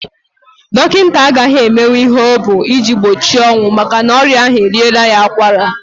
Dọkịta agaghị emenwu ihe ọ bụ iji gbochi ọnwụ makana ọrị ahu eriela ya akwara.